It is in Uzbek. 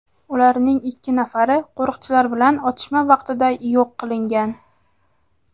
Ularning ikki nafari qo‘riqchilar bilan otishma vaqtida yo‘q qilingan.